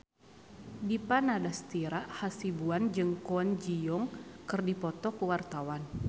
Dipa Nandastyra Hasibuan jeung Kwon Ji Yong keur dipoto ku wartawan